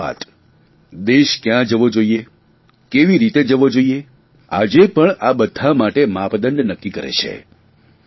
તેમની દરેક વાત દેશ કયાં જવો જોઇએ આજે પણ આ બધા માટે માપદંડ નક્કી કરે છે